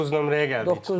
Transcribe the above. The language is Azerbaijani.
Doqquz nömrəyə gəldik çıxdıq.